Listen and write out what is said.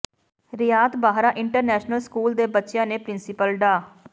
ਰਿਆਤ Bahra international school ਦੇ ਬੱਚਿਆਂ ਨੇ ਪਿ੍ਰੰਸੀਪਲ ਡਾ